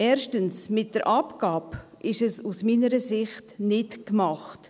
Erstens: Mit der Abgabe ist es meiner Ansicht nach nicht getan.